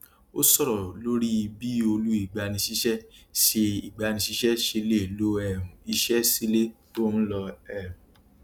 o sọrọ lori bi olú igbanisise se igbanisise se le lo um ise sile tó ń lọ um